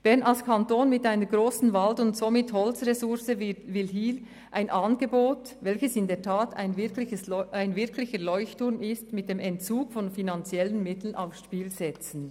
Bern als Kanton mit einer grossen Wald- und somit Holzmenge will hier ein Angebot, welches ein wirklicher Leuchtturm ist, mit dem Entzug von finanziellen Mitteln aufs Spiel setzen.